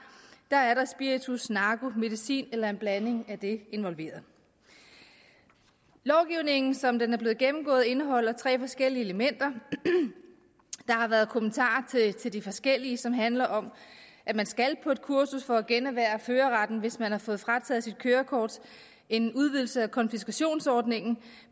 er der spiritus narko medicin eller en blanding af det involveret lovgivningen som den er blevet gennemgået indeholder tre forskellige elementer der har været kommentarer til de forskellige elementer som handler om at man skal på et kursus for at generhverve førerretten hvis man har fået frataget sit kørekort en udvidelse af konfiskationsordningen